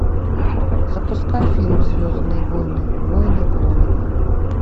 запускай фильм звездные войны войны клонов